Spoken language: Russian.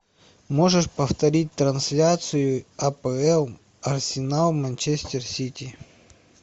можешь повторить трансляцию апл арсенал манчестер сити